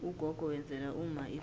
ugogo wenzela umma idzila